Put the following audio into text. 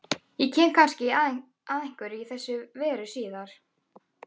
Ég kem kannski að einhverju í þessa veru síðar.